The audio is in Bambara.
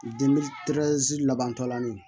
labantɔlan ye